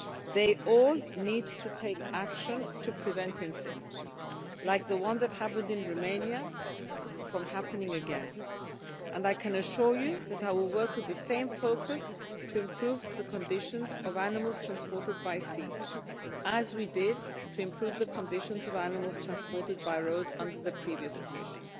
They all need to take action to prevent incidents like the one that happened in Romania from happening again, and I can assure you that I will work with the same focus to improve the conditions of animals transported by sea, as we did to improve the conditions of animals transported by road under the previous Commission.